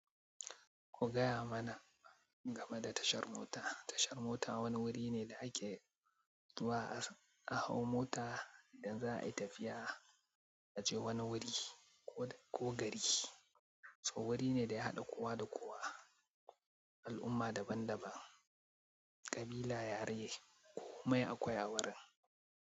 Ku gaya mana game da tashar mota. Tashar mota wani wuri ne da ake zuwa a hau mota idan za a yi tafiya a je wani wuri ko, ko gari. To wuri ne da ya haɗa kowa da kowa, al'umma daban-daban, ƙabila, yare, komai akwai a wurin.